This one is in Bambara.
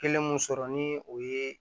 Kelen mun sɔrɔ ni o ye